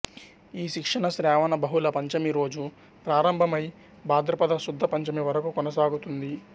ఈ శిక్షణ శ్రావణ బహుళ పంచమి రోజు ప్రారంభమై బాధ్రపద శుద్ధ పంచమి వరకు కొనసాగుతుంది